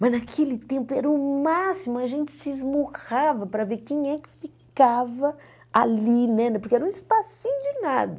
Mas naquele tempo era o máximo, a gente se esmurrava para ver quem é que ficava ali, né porque era um espacinho de nada.